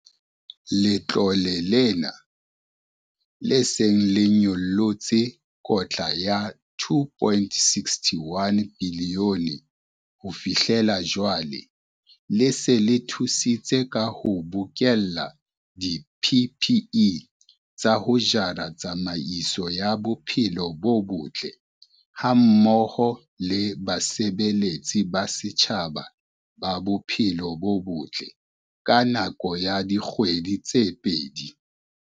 Letlole lena, le seng le nyollotse kotla ya R2.61 bilione ho fihlela jwale, le se le thusitse ka ho bokella di-PPE tsa ho jara tsamaiso ya bophelo bo botle hammoho le basebeletsi ba setjhaba ba bophelo bo botle ka nako ya dikgwedi tse pedi.